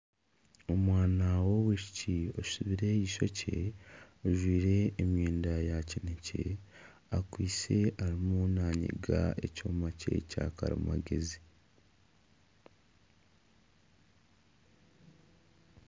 Omwana w'omwishiki asibire eishookye ajwaire emyenda ya kinekye akwaitse arimu namiga ekyoma kye Kyakarimagyezi